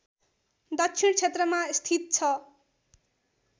दक्षिण क्षेत्रमा स्थित छ